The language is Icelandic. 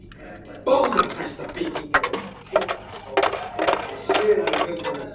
Báðar þessar byggingar voru tengdar við skálann með sömu göngunum.